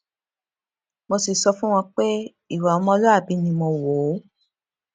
mo sì sọ fún wọn pé ìwà ọmọlúwàbí ni mo wò ó